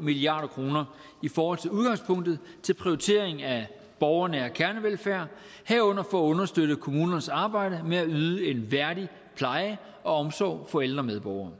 milliard kroner i forhold til udgangspunktet til prioritering af borgernær kernevelfærd herunder for at understøtte kommunernes arbejde med at yde en værdig pleje og omsorg for ældre medborgere